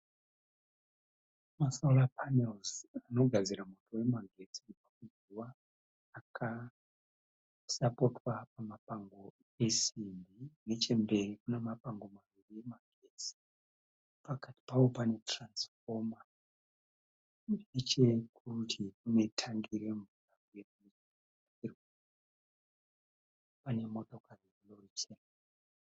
Masora panels anogadzira moto wemagetsi kubva muzuva akasapotwa pamapango esimbi, nechemberi kune mapango maviri emagetsi, pakati pawo pane tiranzifoma, nechekurutivi kune tangi remvura pane motokari